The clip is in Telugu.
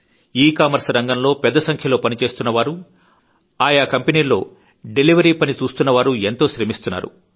ఈ కామర్స్ రంగంలో పెద్ద సంఖ్యలో పని చేస్తున్న వారు ఆయా కంపెనీల్లో డెలివరీ పని చూస్తున్నవారూ కూడా ఎంతో శ్రమిస్తున్నారు